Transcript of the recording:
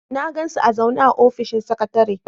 Na gan su a zaune a ofishin sakatare.